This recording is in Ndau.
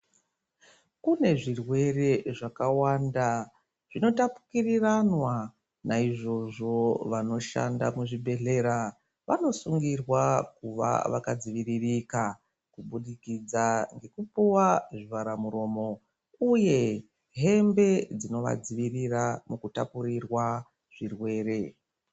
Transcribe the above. Kune zvirwere zvakawanda zvinotapukiriranwa naizvozvo vanoshanda muzvibhedhlera vanosungirwa kuva vakadziviririka kubudikidza ngekupuwa zvivhara muromo uye hembe dzinovadzivirira mukutapurirwa zvirwere.